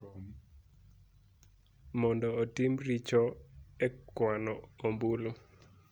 mondo otim richo e kwano ombulu.